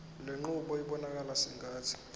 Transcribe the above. lenqubo ibonakala sengathi